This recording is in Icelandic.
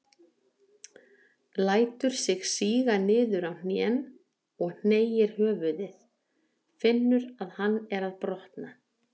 Lætur sig síga niður á hnén og hneigir höfuðið, finnur að hann er að brotna.